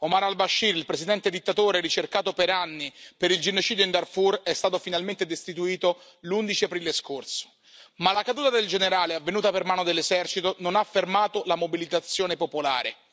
Omar al Bashir, il presidente dittatore ricercato per anni per il genocidio in Darfur è stato finalmente destituito l'11 aprile scorso, ma la caduta del generale avvenuta per mano dell'esercito non ha fermato la mobilitazione popolare.